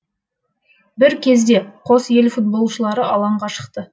бір кезде қос ел футболшылары алаңға шықты